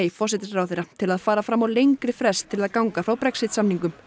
forsætisráðherra til að fara fram á lengri frest til að ganga frá Brexit samningum